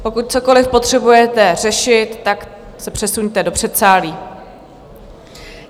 Pokud cokoliv potřebujete řešit, tak se přesuňte do předsálí.